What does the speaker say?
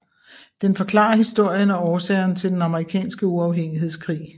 Den forklarer historien og årsagerne til Den Amerikanske uafhængighedskrig